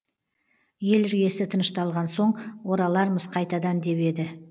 ел іргесі тынышталған соң оралармыз қайтадан деп еді